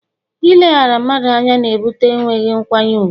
Ileghara mmadụ anya na ebute enweghị nkwanye ùgwù